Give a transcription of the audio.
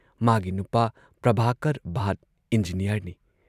ꯃꯥꯒꯤ ꯅꯨꯄꯥ ꯄ꯭ꯔꯚꯥꯀꯔ ꯚꯥꯠ ꯏꯟꯖꯤꯅꯤꯌꯥꯔꯅꯤ ꯫